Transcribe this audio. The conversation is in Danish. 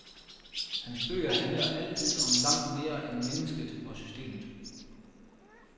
Hans bøger handler altid om langt mere end mennesket og systemet.